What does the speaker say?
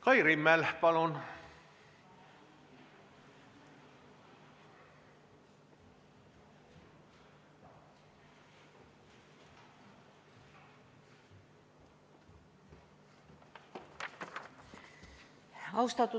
Kai Rimmel, palun!